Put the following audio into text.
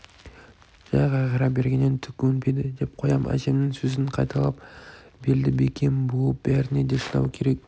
жә қайғыра бергеннен түк өнбейді деп қоям әжемнің сөзін қайталап белді бекем буып бәріне де шыдау керек